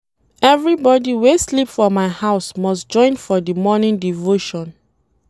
Everybodi wey sleep for my house must join for di morning devotion.